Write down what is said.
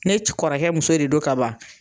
Ne ce kɔrɔkɛ muso de don ka ban.